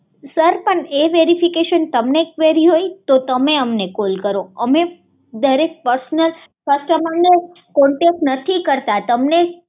sir પણ એ verification તમને ક્વેરી હોઈ તો તમે અમને કોલ કરો અમે ડીરેક્ટ પર્શનલ કસ્ટમરને કોન્ટેક્ટ નથી કરતા